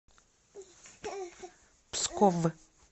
псков